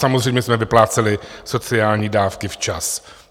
Samozřejmě jsme vypláceli sociální dávky včas.